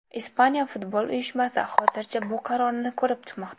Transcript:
Ispaniya futbol uyushmasi hozircha bu qarorni ko‘rib chiqmoqda.